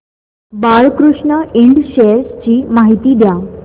Balkrishna Ind shares ची माहिती द्या